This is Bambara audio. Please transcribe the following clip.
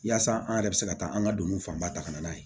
Yaasa an yɛrɛ bɛ se ka taa an ka donin fanba ta ka na n'a ye